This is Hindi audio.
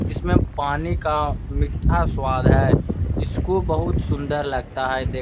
इसमें पानी का मीठा स्वाद है। इसको बहोत सुंदर लगता है देखने --